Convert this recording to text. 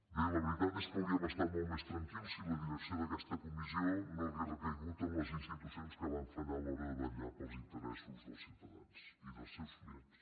bé la veritat és que hauríem estat molt més tranquils si la direcció d’aquesta comissió no hagués recaigut en les institucions que van fallar a l’hora de vetllar pels interessos dels ciutadans i dels seus clients